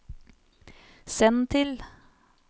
send til